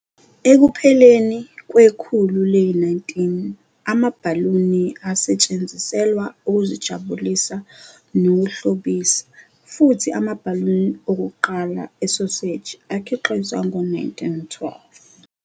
Ekupheleni kwekhulu le-19, amabhaluni asesetshenziselwa ukuzijabulisa nokuhlobisa, futhi amabhaluni okuqala esoseji akhiqizwa ngo-1912.